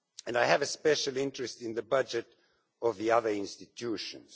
I have a special interest in the budget of the other institutions.